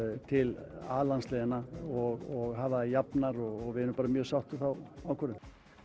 til a landsliðanna og hafa þær jafnar og við erum bara mjög sátt við þá ákvörðun